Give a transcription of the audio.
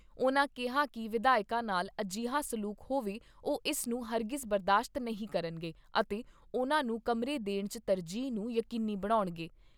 ਉਨ੍ਹਾਂ ਕਿਹਾ ਕਿ ਵਿਧਾਇਕਾਂ ਨਾਲ ਅਜਿਹਾ ਸਲੂਕ ਹੋਵੇ ਉਹ ਇਸ ਨੂੰ ਹਰਗਿਜ਼ ਬਰਦਾਸ਼ਤ ਨਹੀਂ ਕਰਨਗੇ ਅਤੇ ਉਨ੍ਹਾਂ ਨੂੰ ਕਮਰੇ ਦੇਣ 'ਚ ਤਰਜੀਹ ਨੂੰ ਯਕੀਨੀ ਬਣਾਉਣਗੇ।